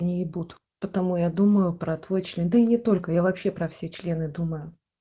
не ебут потому я думаю про твой член да и не только я вообще про все члены думаю